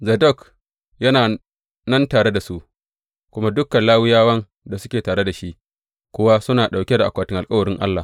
Zadok yana nan tare da su, kuma dukan Lawiyawan da suke tare da shi kuwa suna ɗauke da akwatin alkawarin Allah.